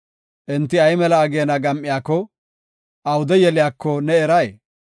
Enti ay mela ageena gam7iyako, awude yeliyako ne eray?